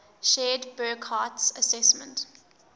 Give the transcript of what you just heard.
shared burckhardt's assessment